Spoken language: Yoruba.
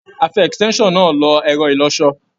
A fi extension náà lo ẹ̀rọ-ìlọṣọ.